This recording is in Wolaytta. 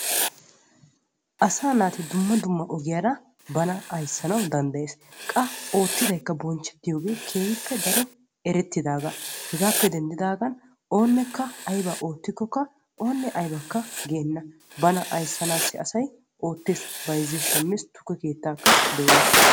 Asaa naati dumma dumma ogiyara bana ayssanawu danddayees. qa oottidayikka bonchchetiyoogee keehippe daro erettidagaa. hegaappe denddigaan oonekka aybaa oottikokka oonekka aybakka geenna. bana ayssanaassi asay bayzzees shammees tukke keettaakka dooyees.